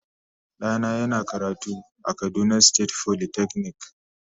Dana yana karatu a kaduna state folytechnic.